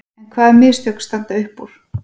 En hvaða mistök standa upp úr?